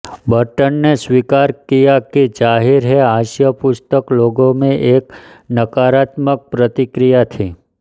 Burton ने स्वीकार किया कि जाहिर है हास्य पुस्तक लोगों में एक नकारात्मक प्रतिक्रिया थी